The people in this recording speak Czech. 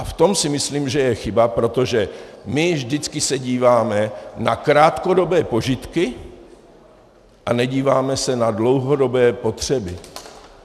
A v tom si myslím, že je chyba, protože my vždycky se díváme na krátkodobé požitky a nedíváme se na dlouhodobé potřeby.